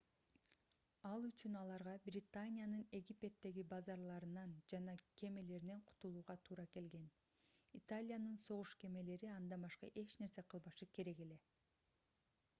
ал үчүн аларга британиянын египеттеги базаларынан жана кемелеринен кутулууга туура келген италиянын согуш кемелери андан башка эч нерсе кылбашы керек эле